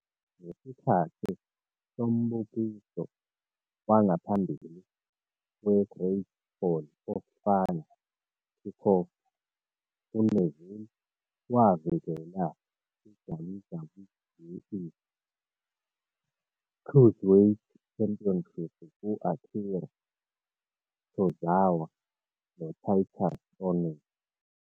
Ngesikhathi sombukiso wangaphambili we-Great Balls of Fire Kickoff, u-Neville wavikela i-WWE Cruiserweight Championship ku-Akira Tozawa, no-Titus O'Neil.